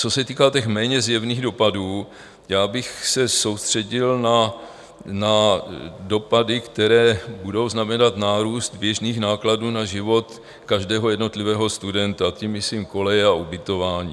Co se týká těch méně zjevných dopadů, já bych se soustředil na dopady, které budou znamenat nárůst běžných nákladů na život každého jednotlivého studenta, tím myslím koleje a ubytování.